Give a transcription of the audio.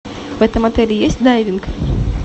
в этом отеле есть дайвинг